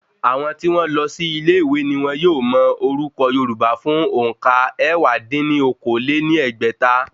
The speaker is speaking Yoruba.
Àwọn tí wọ́n lọ sí ilé ìwé ni wọ́n yóò mọ orúkọ̀ yorùbá fún òǹkà ẹ̀wá dín ní okòó-lé-ní-ẹgbẹ́ta.